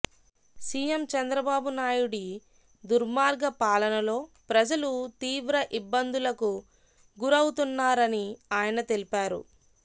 CM Chandrababu నాయుడి దుర్మార్గ పాలనలో ప్రజలు తీవ్ర ఇబ్బందులకు గురౌతున్నారని ఆయన తెలిపారు